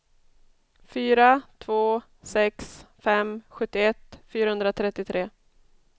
fyra två sex fem sjuttioett fyrahundratrettiotre